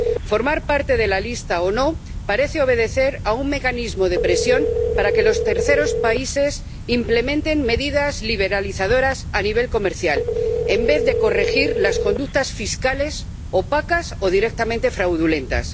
Formar parte de la lista o no parece obedecer a un mecanismo de presión para que los terceros países implementen medidas liberalizadoras a nivel comercial, en vez de corregir las conductas fiscales opacas o directamente fraudulentas.